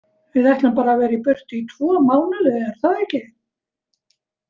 Við ætlum bara að vera í burtu í tvo mánuði er það ekki?